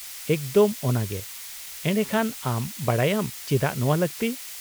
-ᱮᱠᱫᱚᱢ ᱚᱱᱟᱜᱮ, ᱮᱰᱮᱠᱷᱟᱱ ᱟᱢ ᱵᱟᱰᱟᱭᱟᱢ ᱪᱮᱫᱟᱜ ᱱᱚᱶᱟ ᱞᱟᱹᱠᱛᱤ ᱾